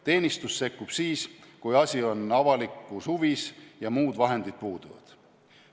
Teenistus sekkub siis, kui asi on avalikus huvis ja muud vahendid puuduvad.